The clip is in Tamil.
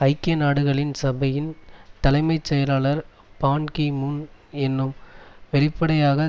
ஐக்கிய நாடுகள் சபையின் தலைமை செயலர் பான் கி மூன் என்னும் வெளிப்படையாக